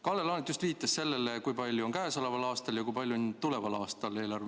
Kalle Laanet just viitas sellele, kui suur on eelarve käesoleval aastal ja kui suur on see tuleval aastal.